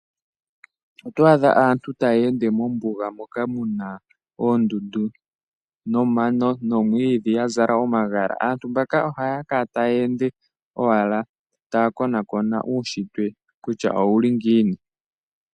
Oto adha aantu taya ende mombuga moka muna oondundu nomano nomwiidhi ya zala omagala. Aantu mbaka ohaya kala taya ende owala taya konaakona uunshitwe kutya owuli ngiini.